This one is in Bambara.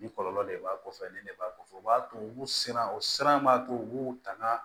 Ni kɔlɔlɔ de b'a kɔfɛ nin de b'a kɔfɛ o b'a to u b'u siran u siran b'a to u b'u tanga